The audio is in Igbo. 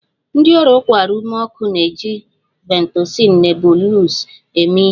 Ndị ọrịa ụkwara ume ọkụ na-eji Ventolin Nebules eme ihe